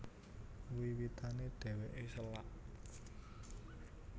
Wiwitané dhèwèké sélak